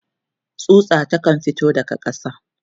tsutsa ta kan fito daga ƙasa